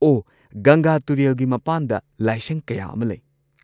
ꯑꯣꯍ, ꯒꯪꯒꯥ ꯇꯨꯔꯦꯜꯒꯤ ꯃꯄꯥꯟꯗ ꯂꯥꯏꯁꯪ ꯀꯌꯥ ꯑꯃ ꯂꯩ꯫